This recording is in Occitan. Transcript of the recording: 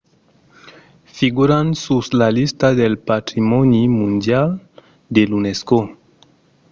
figuran sus la lista del patrimòni mondial de l’unesco